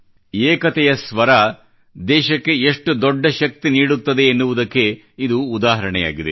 ಏಕತೆಯ ಸ್ವರ ದೇಶಕ್ಕೆ ಎಷ್ಟು ದೊಡ್ಡ ಶಕ್ತಿ ನೀಡುತ್ತದೆ ಎನ್ನುವುದಕ್ಕೆ ಇದು ಉದಾಹರಣೆಯಾಗಿದೆ